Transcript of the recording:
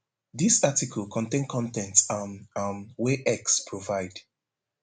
dis article contain con ten t um um wey x provide